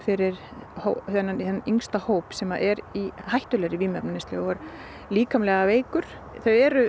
fyrir þennan yngsta hóp sem er í hættulegri vímuefnaneyslu og er líkamlega veikur þau eru